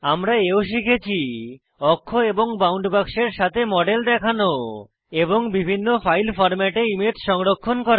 আমরা এও শিখেছি অক্ষ এবং বাউন্ড বাক্সের সাথে মডেল দেখানো এবং বিভিন্ন ফাইল ফরম্যাটে ইমেজ সংরক্ষণ করা